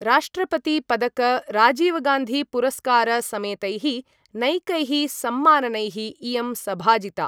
राष्ट्रपतिपदकराजीवगान्धिपुरस्कारसमेतैः नैकैः सम्माननैः इयं सभाजिता।